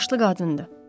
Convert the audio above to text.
Yaşlı qadındır.